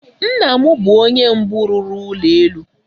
Nna m bụ onye mbụ rụrụ ụlọ elu.